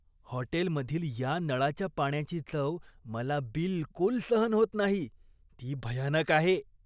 हॉटेलमधील या नळाच्या पाण्याची चव मला बिलकुल सहन होत नाही, ती भयानक आहे.